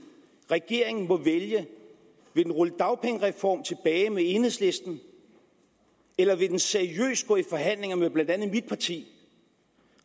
regeringen må vælge vil den rulle dagpengereformen tilbage med enhedslisten eller vil den seriøst gå i forhandlinger med blandt andet mit parti